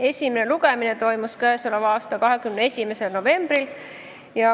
Esimene lugemine toimus 21. novembril.